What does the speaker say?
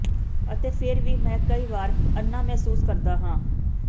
ਅਤੇ ਫਿਰ ਵੀ ਮੈਂ ਕਈ ਵਾਰ ਅੰਨ੍ਹਾ ਮਹਿਸੂਸ ਕਰਦਾ ਹਾਂ